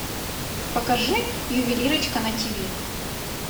покажи ювелирочка на ти ви